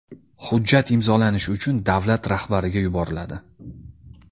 Hujjat imzolanishi uchun davlat rahbariga yuboriladi.